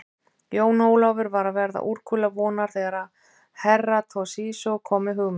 Jón Ólafur var að verða úrkula vonar þegar Herra Toshizo kom með hugmynd.